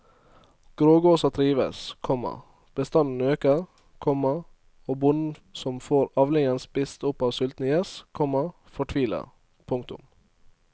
Grågåsa trives, komma bestanden øker, komma og bonden som får avlingen spist opp av sultne gjess, komma fortviler. punktum